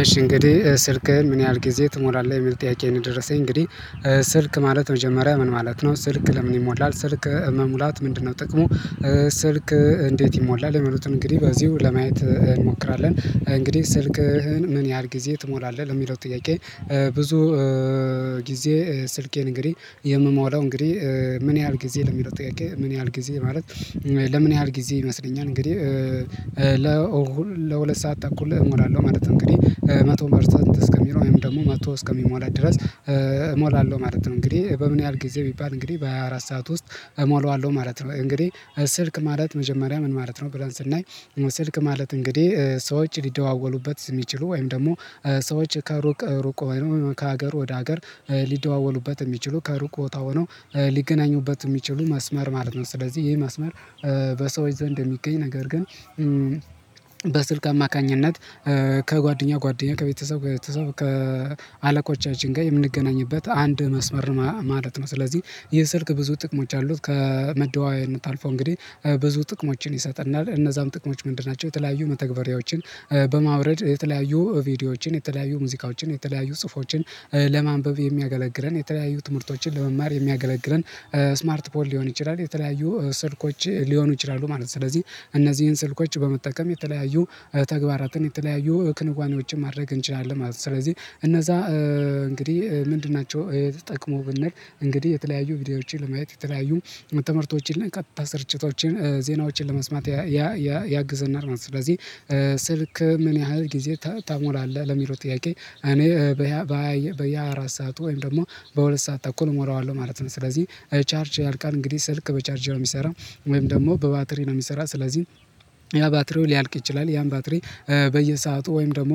እሺ እንግዲህ ስልክህን ምን ያህል ጊዜ ትሞላለህ? የሚል ጥያቄ ነው የደረሰኝ እንግዲህ ስልክ ማለት መጀመሪያ ምን ማለት ነው ስልክ ለምን ይሞላል ስልክ መሙላት ምንድነው ጥቅሙ ስልክ እንዴት ይሞላል የሚሉትን እንግዲህ በዚሁ ለማየት እንሞክራለን እንግዲህ ስልክህን ምን ያህል ጊዜ ትሞላለህ ለሚለው ጥያቄ ብዙ ጊዜ ስልኬን እንግዲህ የምሞላው እንግዲህ ምን ያህል ጊዜ ለሚለው ጥቃቄ ምን ያህል ጊዜ ማለት ለምን ያህል ጊዜ ይመስለኛል እንግዲህ ለሁለት ሰዓት ተኩል እሞላለሁ ማለት ነው እንግዲህ መቶ ፐርሰንት እስከሚለው ወይም ደግሞ መቶ እስከሚሞላት ድረስ እሞላለሁ ማለት ነው እንግዲህ በምን ያህል ጊዜ ቢባል እንግዲህ በሃያ አራት ሰዓት ውስጥ እሞላዋለሁ ማለት ነው እንግዲህ ስልክ ማለት መጀመሪያ ምን ማለት ነው ብለን ስናይ ስልክ ማለት እንግዲህ ሰዎች ሊደዋወሉበት የሚችሉ ወይም ደግሞ ሰዎች ከሩቅ ሩቅ ከሀገር ወደ ሀገር ሊደዋወሉበት የሚችሉ ከሩቅ ቦታ ሆነው ሊገናኙበት የሚችሉ መስመር ማለት ነው ስለዚህ ይሄ መስመር በሰዎች ዘንድ የሚገኝ ነገር ግን በስልክ አማካኝነት ከጓደኛ ጓደኛ ከቤተሰብ ከአለቆቻችን ጋር የምንገናኝበት አንድ መስመር ማለት ነው ስለዚህ ይህ ስልክ ብዙ ጥቅሞች አሉት ከመደዋወያነት አልፎ እንግዲህ ብዙ ጥቅሞችን ይሰጠናል እነዛም ጥቅሞች ምንድን ናቸው የተለያዩ መተግበሪያዎችን በማውረድ የተለያዩ ቪዲዮዎችን የተለያዩ ሙዚቃዎችን የተለያዩ ጽሁፎችን ለማንበብ የሚያገለግለን የተለያዩ ትምህርቶችን ለመማር የሚያገለግለን ስማርት ፖል ሊሆን ይችላል የተለያዩ ስልኮች ሊሆኑ ይችላሉ ማለት ነው ስለዚህ እነዚህን ስልኮች በመጠቀም የተለያዩ ተግባራትን የተለያዩ ክንዋኔዎችን ማድረግ እንችላለን ማለት ነው ስለዚህ እነዛ እንግዲህ ምንድን ናቸው የዚህ ጥቅሙ ብንል እንግዲህ የተለያዩ ቪዲዮዎችን ለማየት የተለያዩ ትምህርቶችን እና ቀጥታ ስርጭቶችን ዜናዎችን ለመስማት ያ ያ ያግዘናል ማለት ነው ስለዚህ ስልክ ምን ያህል ጊዜ ታሞላለህ ለሚለው ጥያቄ እኔ በያ በያ አራት ሰዓት ወይም ደግሞ በሁለት ሰዓት ተኩል እሞላዋለሁ ማለት ነው ስለዚህ ቻርጅ ያልቃል እንግዲህ ስልክ በቻርጅ ነው የሚሰራው ወይም ደግሞ በባትሪ ነው የሚሰራው ስለዚህ ያ ባትሪው ሊያልቅ ይችላል ያን ባትሪ በየሰአቱ ወይም ደግሞ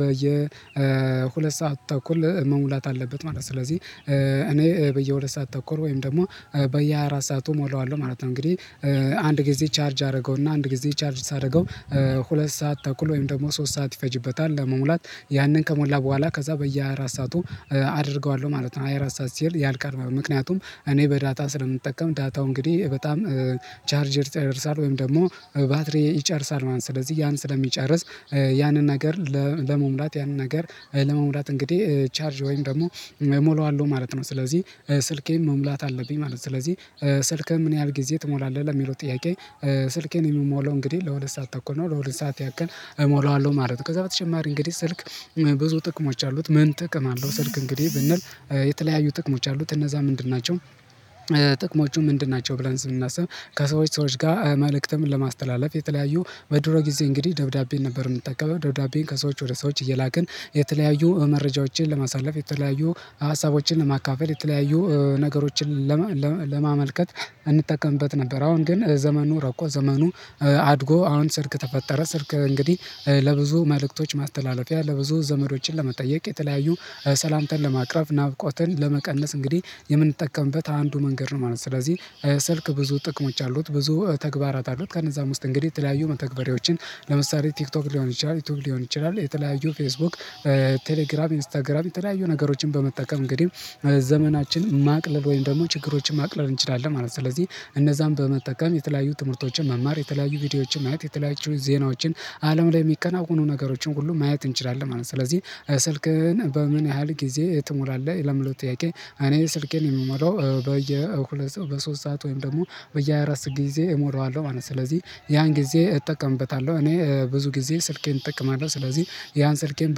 በየሁለት ሁለት ሰዓት ተኩል መሙላት አለበት ማለት ነው ስለዚህ እኔ በየሁለት ሰዓት ተኩል ወይም ደግሞ በየሃያ አራት ሰዓቱ እሞላዋለሁ ማለት ነው እንግዲህ አንድ ጊዜ ቻርጅ አደረገውና አንድ ጊዜ ቻርጅ ሳደርገው ሁለት ሰዓት ተኩል ወይም ደግሞ ሶስት ሰዓት ይፈጅበታል ለመሙላት ያንን ከሞላ በኋላ ከዛ በየአራት ሰዓቱ አደርገዋለሁ ማለት ነው አራት ሰዓት ሲል ያልቀረበ ምክንያቱም እኔ በዳታ ስለምጠቀም ዳታው እንግዲህ በጣም ቻርጀር ይጨርሳል ወይም ደግሞ ባትሪ ይጨርሳል ማለት ነው ስለዚህ ያን ስለሚጨርስ ያንን ሀገር ለመሙላት ያንን ነገር ለመሙላት እንግዲህ ቻርጅ ወይም ደግሞ እሞላዋለሁ ማለት ነው ስለዚህ ስልኬን መሙላት አለብኝ ማለት ነው ስለዚህ ስልክህን ምን ያህል ጊዜ ትሞላለህ ለሚለው ጥያቄ ስልኬን የምሞለው እንግዲህ ለሁለት ሰዓት ተኩል ነው ለሁለት ሰዓት ያክል እሞላዋለሁ ማለት ነው ከዛ በተጨማሪ እንግዲህ ስልክ ብዙ ጥቅሞች አሉት ምን ጥቅም አለው ስልክ እንግዲህ ብንል የተለያዩ ጥቅሞች አሉት እነዛ ምንድን ናቸው ጥቅሞቹ ምንድን ናቸው ብለን ስናስብ ከሰዎች ሰዎች ጋር መልእክትም ለማስተላለፍ የተለያዩ በድሮ ጊዜ እንግዲህ ደብዳቤን ነበር የምንጠቀመው ደብዳቤን ከሰዎች ወደ ሰዎች እየላክን የተለያዩ መረጃዎችን ለማሳለፍ የተለያዩ ሀሳቦችን ለማካፈል የተለያዩ ነገሮችን ለማመልከት እንጠቀምበት ነበር አሁን ግን ዘመኑ ረቆ ዘመኑ አድጎ አሁን ስልክ ተፈጠረ ስልክ እንግዲህ ለብዙ መልእክቶች ማስተላለፊያ ለብዙ ዘመዶችን ለመጠየቅ የተለያዩ ሰላምታን ለማቅረብ ናፍቆትን ለመቀነስ እንግዲህ የምንጠቀምበት አንዱ መንገድ ነው ማለት ነው ስለዚህ ስልክ ብዙ ጥቅሞች አሉት ብዙ ተግባራት አሉት ከነዛም ውስጥ እንግዲህ የተለያዩ መተግበሪያዎችን ለምሳሌ ቲክቶክ ሊሆን ይችላል ዩቲዩብ ሊሆን ይችላል የተለያዩ ፌስቡክ ቴሌግራም ኢንስታግራም የተለያዩ ነገሮችን በመጠቀም እንግዲህ ዘመናችን ማቅለል ወይም ደግሞ ችግሮችን ማቅለል እንችላለን ማለት ነው ስለዚህ እነዛን በመጠቀም የተለያዩ ትምህርቶችን መማር የተለያዩ ቪዲዮዎችን ማየት የተለያዩ ዜናዎችን አለም ላይ የሚከናወኑ ነገሮችን ሁሉ ማየት እንችላለን ማለት ነው ስለዚህ ስልክህን በምን ያህል ጊዜ ትሞላለህ? ለሚለው ጥያቄ እኔ ስልኬን የምሞላው በየ በሶስት ሰዓት ወይም ደግሞ በየአራት ጊዜ እሞላዋለሁ ማለት ነው ስለዚህ ያን ጊዜ እጠቀምበታለሁ እኔ ብዙ ጊዜ ስልኬን እጠቀማለሁ ስለዚህ ያን ስልኬን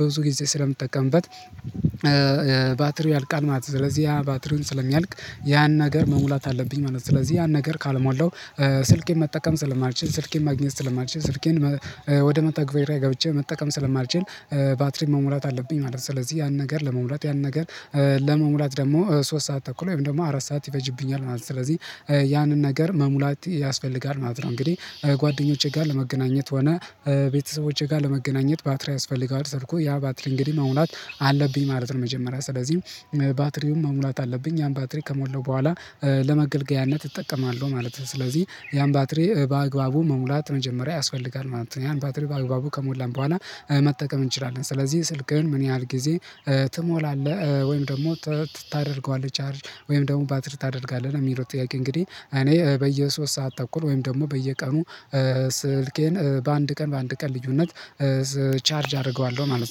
በብዙ ጊዜ ስለምትጠቀምበት ባትሪው ያልቃል ማለት ነው ስለዚህ ያ ባትሪውን ስለሚያልቅ ያን ነገር መሙላት አለብኝ ማለት ነው ስለዚህ ያን ነገር ካልሟልደው ስልኬን መጠቀም ስለማልችል ስልኬን ማግኘት ስለማልችል ስልኬን ወደ መተግበሪያ ገብቼ መጠቀም ስለማልችል ባትሪን መሙላት አለብኝ ማለት ነው ስለዚህ ያን ነገር ለመሙላት ያን ነገር ለመሙላት ደግሞ ሶስት ሰዓት ተኩል ወይም ደግሞ አራት ሰዓት ይፈጅብኛል ማለት ነው ስለዚህ ያንን ነገር መሙላት ያስፈልጋል ማለት ነው እንግዲህ ጓደኞቼ ጋር ለመገናኘት ሆነ ቤተሰቦቼ ጋር ለመገናኘት ባትሪ ያስፈልገዋል ስልኩ ያ ባትሪ እንግዲህ መሙላት አለብኝ ማለት ነው መጀመሪያ ስለዚህ ባትሪውን መሙላት አለብኝ ያን ባትሪ ከሞለው በኋላ ለመገልገያነት እጠቀማለሁ ማለት ነው ስለዚህ ያን ባትሪ በአግባቡ መሙላት መጀመሪያ ያስፈልጋል ማለት ነው ያን ባትሪ በአግባቡ ከሞላን በኋላ መጠቀም እንችላለን ስለዚህ ስልክህን ምን ያህል ጊዜ ትሞላለህ? ወይም ደግሞ ታደርገዋለህ ቻርጅ ወይም ደግሞ ባትሪ ታደርጋለህ ነው ለሚለው ጥያቄ እንግዲህ እኔ በየሦስት ሰዓት ተኩል ወይም ደግሞ በየቀኑ ስልኬን በአንድ ቀን በአንድ ቀን ልዩነት ቻርጅ አደርገዋለሁ ማለት ነው